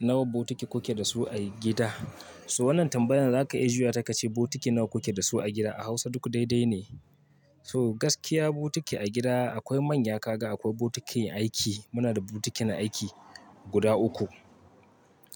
Nawa botiki kuke da su a gida? So wannan tambayan za ka iya juya ta ka ce botiki nawa kuke da su a gida? A Hausa duk daidai ne. So gaskiya botiki a gida akwai manya, kaga akwai botikin aiki. Muna da botikin aiki guda uku.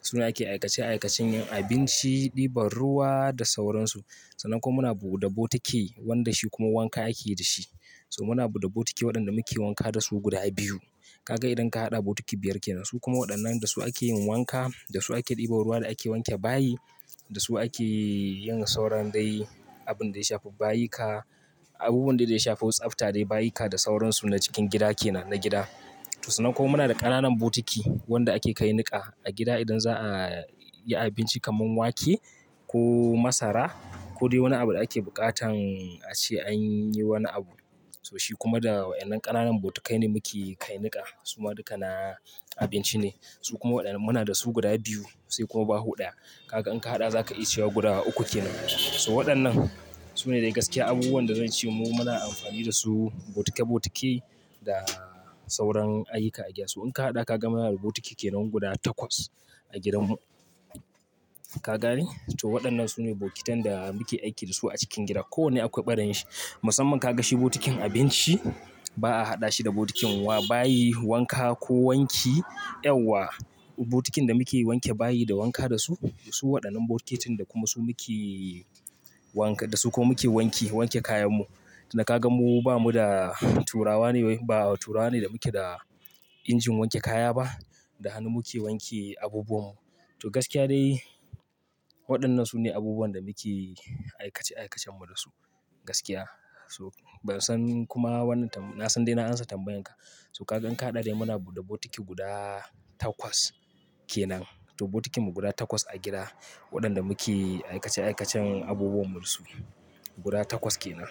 Su na ake aikace aikacen yin abinci, ɗiban ruwa da sauransu. Sannan kuma muna bu da botiki wanda shi kuma wanka ake da shi. So muna buɗe botiki waɗanda muke wanka da su guda biyu. Kaga idan ka haɗa botiki biyar kenan. Su kuma waɗannan da su ake yin wanka, da su ake ɗiban ruwa da ake wanke bayi, da su ake yin sauran dai abun da ya shafi bayika, abubuwan da ya shafi wasu tsafta dai bayika da sauransu na cikin gida kenan na gida. To sannan kuma muna da ƙananan botiki wanda ake kai niƙa a gida idan za'a yi abinci kaman wake ko masara ko dai wani abu da ake buƙatan a ce an yi wani abu. So shi kuma da waɗannan ƙananan botikai ne muke kai niƙa. Su ma duka na abinci ne. Su kuma waɗannan muna da su guda biyu sai kuma baho daya. Kaga in ka haɗa za ka iya cewa guda uku kenan. So waɗannan su ne dai gaskiya abubuwan da zan ce mu muna amfani da su botike botike da sauran ayyuka a gida. So in ka haɗa ka ga muna da botiki kenan guda takwas a gidanmu. Ka gane? To waɗannan su ne bokitan da muke aiki da su a cikin gida. Kowanne akwai ɓarayin shi. Musamman ka ga shi botikin abinci ba'a haɗa shi da botikin wa bayi, wanka ko wanki. Yawwa botikin da muke wanke bayi da wanka da su, su waɗannan botikin da kuma su muke wanka, da su kuma muke wanke wanke kayanmu. Tunda ka ga mu ba mu da turawa ne, ba turawa ne da muke da injin wanke kaya ba. Da hannu muke wanke abubuwanmu. To gaskiya dai waɗannan su ne abubuwan da muke aikace aikacen mu da su gaskiya. Tun da ka ga mu ba mu da turawa ne, ba turawa ne da muke da injin wanke kaya ba. So kakan ka haɗa dai muna buɗe botiki guda takwas kenan. To botikin mu guda takwas a gida waɗanda muke aikace aikacen abubuwan mu da su guda takwas kenan.